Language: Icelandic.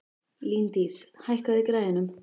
Líndís, hækkaðu í græjunum.